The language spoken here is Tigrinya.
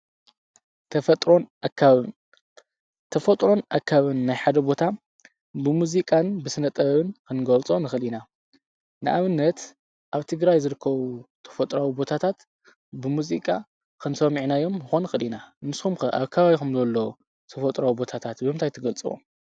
ተፈጥሮን ኣካባቢን ናይ ሓደ ቦታ ብሙዚቃን ብስነጥበብን ክንገልፆ ንኽእል ኢና ንኣብነት ኣብ ትግራይ ዝርከቡ ተፈጥሯዊ ቦታታት ብሙዚቃ ሰሚዕናዮም ክንኮን ንኽእል ኢና ንስኹምከ ኣብ ከባቢኹም ዘሎ ተፈጥሮኣዊ ቦታታት ብምንታይ ትገልፅዎ ?